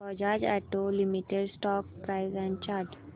Bajaj auto limited stock price and chart